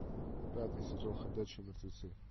пятый сезон ходячие мертвецы